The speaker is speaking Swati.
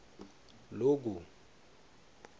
loku